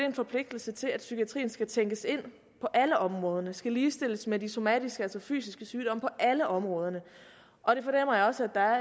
en forpligtelse til at psykiatrien skal tænkes ind på alle områder den skal ligestilles med de somatiske altså fysiske sygdomme på alle områderne og det fornemmer jeg også at